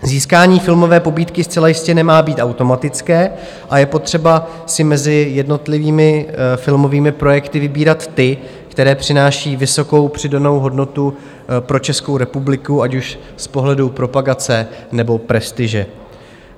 Získání filmové pobídky zcela jistě nemá být automatické a je potřeba si mezi jednotlivými filmovými projekty vybírat ty, které přináší vysokou přidanou hodnotu pro Českou republiku, ať už z pohledu propagace, nebo prestiže.